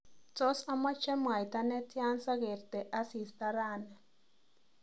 Tos amach mwaita netya sagerte asista rani